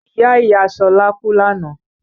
Ìyá Ìyá Ṣọlá kú lánàá